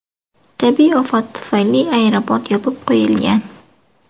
Tabiiy ofat tufayli aeroport yopib qo‘yilgan.